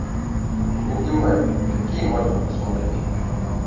бугимен какие можно посмотреть